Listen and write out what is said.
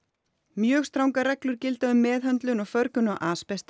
mjög strangar reglur gilda um meðhöndlun og förgun á